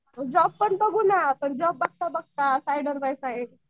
job पण बघू ना जॉब बघता बघता साईडर बाय साईड,